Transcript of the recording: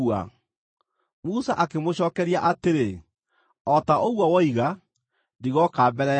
Musa akĩmũcookeria atĩrĩ, “O ta ũguo woiga, ndigooka mbere yaku rĩngĩ.”